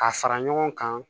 A fara ɲɔgɔn kan